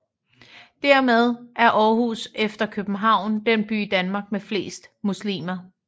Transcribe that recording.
Dermed er Aarhus efter København den by i Danmark med flest muslimer